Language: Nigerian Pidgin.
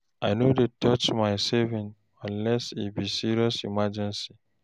I no dey touch my savings unless e be serious emergency.